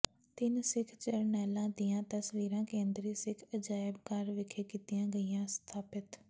ਤਿੰਨ ਸਿੱਖ ਜਰਨੈਲਾਂ ਦੀਆਂ ਤਸਵੀਰਾਂ ਕੇਂਦਰੀ ਸਿੱਖ ਅਜਾਇਬ ਘਰ ਵਿਖੇ ਕੀਤੀਆਂ ਗਈਆਂ ਸਥਾਪਿਤ